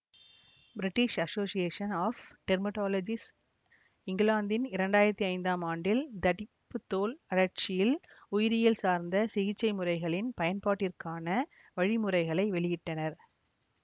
British association of dermatologists இங்கிலாந்தின் இரண்டாயிரத்தி ஐந்தாம் ஆண்டில் தடிப்புத் தோல் அழற்சியில் உயிரியல் சார்ந்த சிகிச்சைமுறைகளின் பயன்பாட்டிற்கான வழிமுறைகளை வெளியிட்டனர்